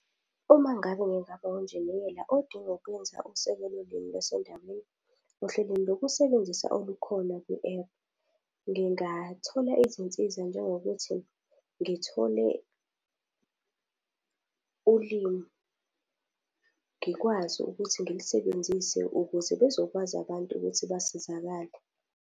Uma ngabe ngingaba unjiniyela odinga ukuwenza usekelo limi lasendaweni, ohlelweni lokusebenzisa olukhona kwi-ephu. Ngingathola izinsiza njengokuthi ngithole ulimi, ngikwazi ukuthi ngilisebenzise ukuze bezokwazi abantu ukuthi basizakale.